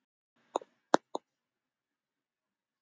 Nei, Dísa mín.